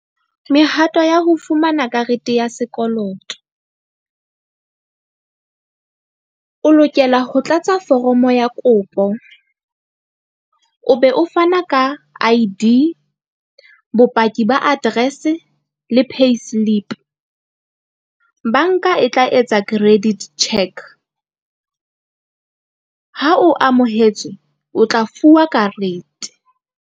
Mehato ya ho fumana karete ya sekoloto o lokela ho tlatsa foromo ya kopo o be o fana ka I_D, bopaki ba address-e le payslip. Banka e tla etsa credit check. Ha o amohetswe, o tla fuwa karete.